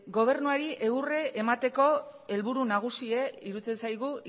gobernuari egurra emateko helburu nagusia iruditzen zaigu